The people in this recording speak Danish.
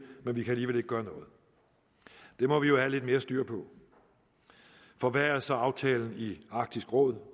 at vi alligevel gøre noget det må vi jo have lidt mere styr på for hvad er så aftalen i arktisk råd